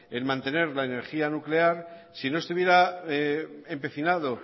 en mantener la energía nuclear si no estuviera empecinado